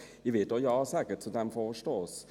Ich werde auch Ja sagen zu diesem Vorstoss.